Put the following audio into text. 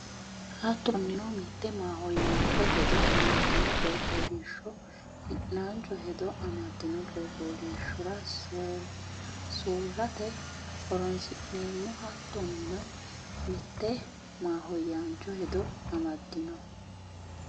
Hattoonnino, mitte mahooyyaancho hedo amaddino coyi fooliishsho hi’naancho hedo amad- dino coyi fooliishshora soorrate horoonsi’neemmo Hattoonnino, mitte mahooyyaancho hedo amaddino.